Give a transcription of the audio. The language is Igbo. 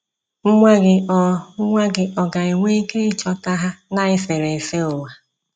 Nwa gị ọ̀ Nwa gị ọ̀ ga-enwe ike ịchọta ha na eserese ụwa?